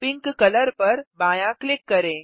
pink colour पर बायाँ click करें